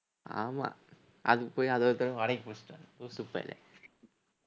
ஆமா அதுக்கு போய் அது ஒரு time வாடகைக்கு புடிச்சுட்டுவரணும் லூசு பயலே